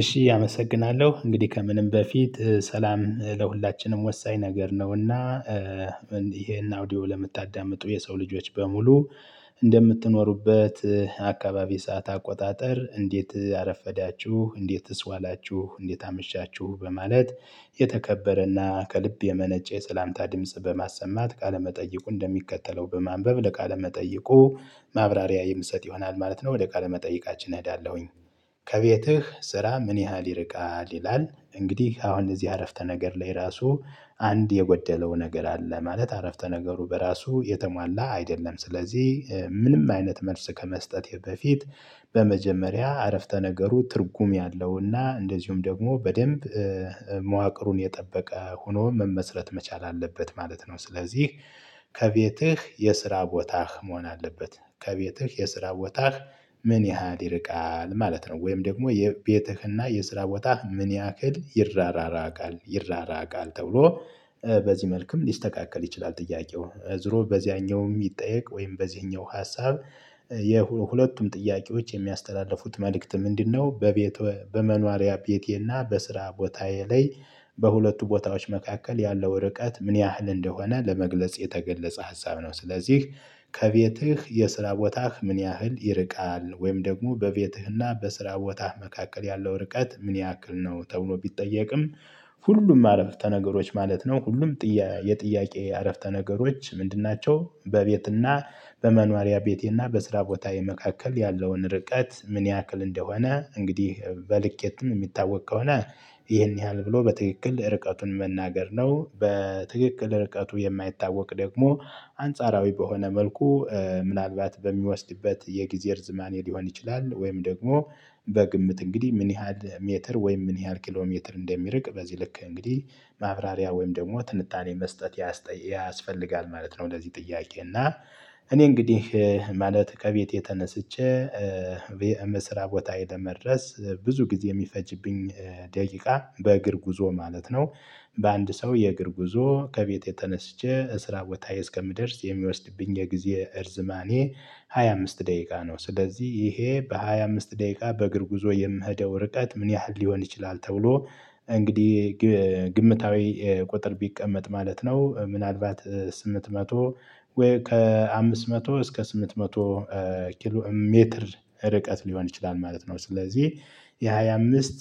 እሺ አመሰግናለሁ እንግዲህ ከምንም በፊት ሰላም ለሁላችንም ወሳኝ ነገር ነውና። ይሄን አውዲዮ ለምታዳምጡ የሰው ልጆች በሙሉ እንደምትኖሩበት አካባቢ ሰዓት አቆጣጠር እንዴት አረፈዳችሁ እንዴት ስ ዋላችሁ እንዴት አመሻችሁ በማለት የተከበረና ከልብ የመነጨ የሰላምታ ድምጽ በማሰማት ቃለመጠይቁ እንደሚከተለው በማንበብ ለቃለመጠይቁ ማብራሪያ የምሰጥ ይሆናል ማለት ነው። ወደ ቃለ መጠይቃችን እሄዳለሁኝ። ከቤትህ ስራ ምን ያህል ይርቃል ይላል? እንግዲህ አሁን እዚህ አረፍተ ነገር ላይ ራሱ አንድ የጎደለው ነገር አለ ማለት አረፍተ ነገሩ በራሱ የተሟላ አይደለም። ስለዚህ ምንም አይነት መልስ ከመስጠቴ በፊት በመጀመሪያ አረፍተ ነገሩ ትርጉም ያለውና እንደዚሁም ደግሞ በደንብ መዋቅሩን የጠበቀ ሆኖ መመስረት መቻል አለበት ማለት ነው። ስለዚህ ከቤትህ የስራ ቦታህ መሆን አለበት። ከቤትህ የስራ ቦታህ ምን ያህል ይርቃል ማለት ነው። ወይም ደግሞ የቤትህና የስራ ቦታህ ምን ያህል ይራራቃል? ተብሎ መልክም ሊስተካከል ይችላል። ጥያቄው ዙሮ በዚያኛው የሚጠየቅ ወይም በዚህኛው ሀሳብ የሁለቱም ጥያቄዎች የሚያስተላልፉት መልእክት ምንድነው? በቤት በመኖሪያ ቤቴና በስራ ቦታዬ ላይ በሁለቱ ቦታዎች መካከል ያለው ወረቀት ምን ያህል እንደሆነ ለመግለጽ የተገለጸ ሀሳብ ነው። ስለዚህ ከቤትህ የስራ ቦታህ ምን ያህል ይርቃል ወይም ደግሞ በቤትህና በስራ ቦታህ መካከል ያለው ርቀት ምን ያክል ነው? ተብሎ ቢጠየቅም ሁሉም አረፍተ ነገሮች ማለት ነው። ሁሉም ጥያቄ የጥያቄ አረፍተ ነገሮች ምንድን ናቸው? በቤትና በመኗሪያ ቤቴና በስራ ቦታዬ የመካከል ያለውን ርቀት ምን ያክል እንደሆነ እንግዲህ የትም የሚታወቅ ከሆነ ይሄን ያህል ብሎ በትክክል ርቀቱን መናገር ነው። በትክክል ርቀቱ የማይታወቅ ደግሞ አንጻራዊ በሆነ መልኩ ምናልባት በሚወስድበት የጊዜር ዝማኔ ሊሆን ይችላል። ወይም ደግሞ በግምት እንግዲህ ምን ያህል ሜትር ወይም ምን ያህል ኪሎሜትር እንደሚርቅ በዚህ ልክ እንግዲህ ማብራሪያ ወይም ደግሞ ትንታኔ መስጠት ያስፈልጋል ማለት ነው። እንደዚህ ጥያቄ እና እኔ እንግዲህ ማለት ከቤቴ ተነስቼ በስራ ቦታ ለመድረስ ብዙ ጊዜ የሚፈጅብኝ ደቂቃ በእግር ጉዞ ማለት ነው። በአንድ ሰው የእግር ጉዞ ከቤት የተነሳች ተነስቼ እስራት ቦታዬ እስከምደርስ የሚወስድብኝ የጊዜ እርዝማኔ ሃያ አምስት ደቂቃ ነው። ስለዚህ ይሄ በሃያ አምስት ደቂቃ በእግር ጉዞ የምሄደው ርቀት ምን ያህል ሊሆን ይችላል ተብሎ እንግዲህ ግምታዊ ቁጥር ቢቀመጥ ማለት ነው። ምናልባት ስምንት መቶ ወይ ከአምስት መቶ እስከ ስምንት መቶ ሜትር ርቀት ሊሆን ይችላል ማለት ነው። ስለዚህ የሃያ አምስት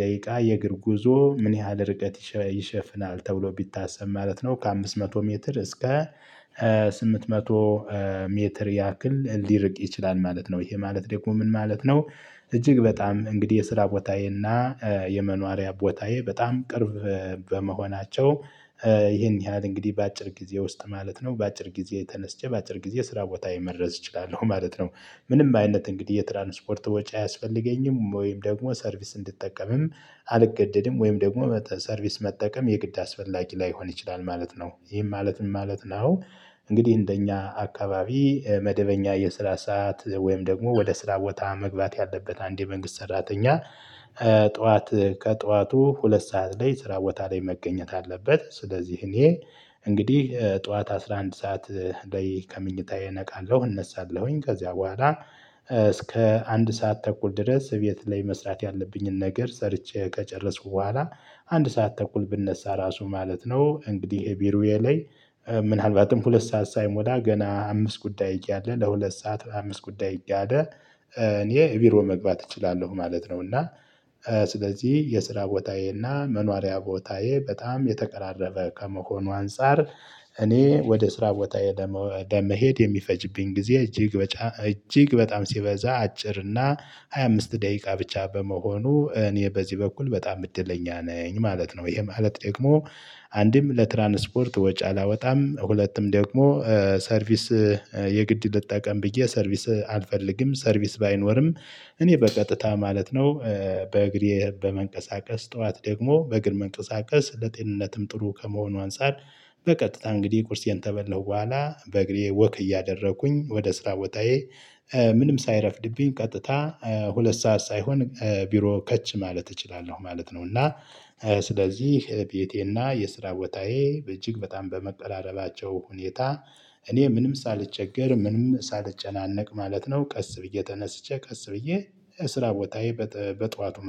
ደቂቃ የእግር ጉዞ ምን ያህል ርቀት ይሸፍናል ተብሎ ቢታሰብ ማለት ነው። ከአምስት መቶ ሜትር እስከ ስምንት መቶ ሜትር ያክል ሊርቅ ይችላል ማለት ነው። ይሄ ማለት ደግሞ ምን ማለት ነው? እጅግ በጣም እንግዲህ የስራ ቦታዬ እና የመኖሪያ ቦታዬ በጣም ቅርብ በመሆናቸው ይህን ያህል እንግዲህ በአጭር ጊዜ ውስጥ ማለት ነው በአጭር ጊዜ ተነስቼ በአጭር ጊዜ ስራ ቦታ መድረስ እችላለሁ ማለት ነው። ምንም አይነት እንግዲህ የትራንስፖርት ወጪ አያስፈልገኝም ወይም ደግሞ ሰርቪስ እንድጠቀምም አልገደድም ወይም ደግሞ ሰርቪስ መጠቀም የግድ አስፈላጊ ላይሆን ይችላል ማለት ነው። ይሄን ማለት ምን ማለት ነው? እንግዲህ እንደኛ አካባቢ መደበኛ የስራ ሰዓት ወይም ደግሞ ወደ ስራ ቦታ መግባት ያለበት አንድ የመንግስት ሰራተኛ ጠዋት ከጠዋቱ ሁለት ሰዓት ላይ ስራ ቦታ ላይ መገኘት አለበት። ስለዚህ እኔ እንግዲህ ጠዋት አስራ አንድ ሰዓት ላይ ከምንጭታዬ እነቃለሁ እነሳለሁኝ ከዚያ በኋላ እስከ አንድ ሰዓት ተኩል ድረስ ቤት ላይ መስራት ያለብኝን ነገር ሰርቼ ከጨረስኩ በኋላ አንድ ሰዓት ተኩል ብነሳ ራሱ ማለት ነው። እንግዲህ ቢሮዬ ላይ ምናልባትም ሁለት ሰዓት ሳይሞላ ገና አምስት ጉዳይ እያለ ለሁለት ሰዓት አምስት ጉዳይ እያለ እኔ ቢሮ መግባት እችላለሁ ማለት ነው። እና ስለዚህ የስራ ቦታዬና መኖሪያ ቦታዬ በጣም የተቀራረበ ከመሆኑ አንፃር እኔ ወደ ስራ ቦታ ለመሄድ የሚፈጅብኝ ጊዜ እጅግ እጅግ በጣም ሲበዛ አጭር እና ሃያ አምስት ደቂቃ ብቻ በመሆኑ እኔ በዚህ በኩል በጣም እድለኛ ነኝ ማለት ነው። ይሄ ማለት ደግሞ አንድም ለትራንስፖርት ወጪ አላወጣም ሁለቱም ደግሞ ሰርቪስ የግድ ልጠቀም ብዬ ሰርቪስ አልፈልግም ሰርቪስ ባይኖርም እኔ በቀጥታ ማለት ነው። በእግሬ በመንቀሳቀስ ጠዋት ደግሞ በግር መንቀሳቀስ ለጤንነትም ጥሩ ከመሆኑ አንፃር በቀጥታ እንግዲህ ቁርሴን ከበላሁ በኋላ በእግሬ ወክ እያደረኩኝ ወደ ስራ ቦታዬ ሳይረፍድብኝ ቀጥታ ሁለት ሰዓት ሳይሆን ቢሮ ከች ማለት እችላለሁ ማለት ነው። እና ስለዚህ ቤቴና የስራ ወታዬ በእጅግ በጣም በመቀራረባቸው ሁኔታ እኔ ምንም ሳልቸገር ምንም ሳልጨናነቅ ማለት ነው ቀስ ብዬ ተነስቼ ቀስ ብዬ ስራ ቦታዬ በጧቱ